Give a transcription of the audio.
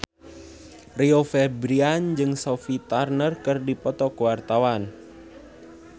Rio Febrian jeung Sophie Turner keur dipoto ku wartawan